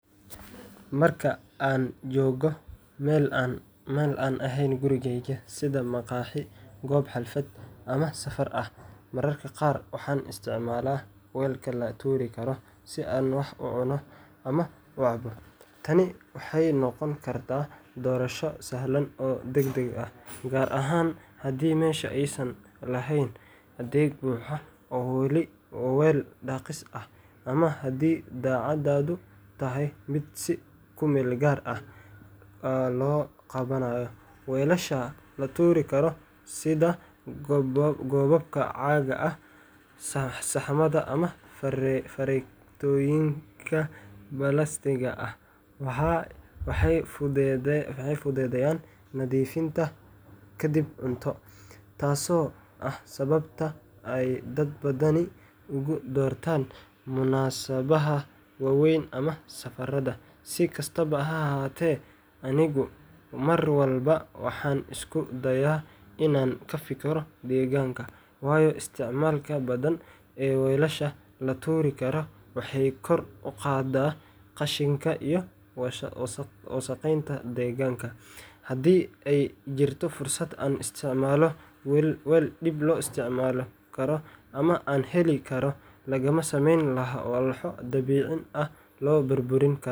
Marka aan joogo meel aan ahayn gurigeyga, sida maqaaxi, goob xaflad ama safar ah, mararka qaar waxaan isticmaalaa weelka la tuuri karo si aan wax u cuno ama u cabo. Tani waxay noqon kartaa doorasho sahlan oo degdeg ah, gaar ahaan haddii meesha aysan lahayn adeeg buuxa oo weel dhaqis ah, ama haddii dhacdadu tahay mid si ku-meelgaar ah loo qabanayo. Weelasha la tuuri karo sida koobabka caaga ah, saxamada, ama fargeetooyinka balaastigga ah waxay fududeeyaan nadiifinta kadib cunto, taasoo ah sababta ay dad badani ugu doortaan munaasabadaha waaweyn ama safarada. Si kastaba ha ahaatee, anigu mar walba waxaan isku dayaa inaan ka fikiro deegaanka, waayo isticmaalka badan ee weelasha la tuuri karo waxay kor u qaadaa qashinka iyo wasakheynta deegaanka. Haddii ay jirto fursad aan ku isticmaalo weel dib loo isticmaali karo ama aan helo karo weel laga sameeyay walxo dhabicin ah o la burburin karo.